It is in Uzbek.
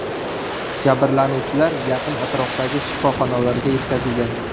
Jabrlanuvchilar yaqin atrofdagi shifoxonalarga yetkazilgan.